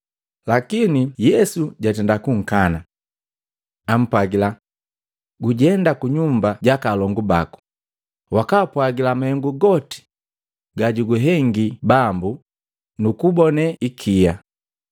Lakini Yesu jatenda kunkani. Ampwagila, “Gujenda kunyumba jaka alongu baku, wakapwagila mahengu goti ga juguhengi Bambu nu kugubone ikia.”